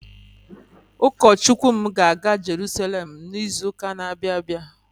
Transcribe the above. Ukọ Chukwu m ga-aga Jeruselem n'izụka n'abia abịa.